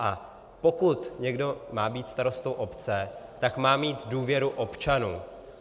A pokud někdo má být starostou obce, tak má mít důvěru občanů.